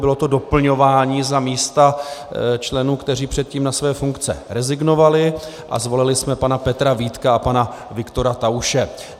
Bylo to doplňování za místa členů, kteří předtím na své funkce rezignovali, a zvolili jsme pana Petra Vítka a pana Viktora Tauše.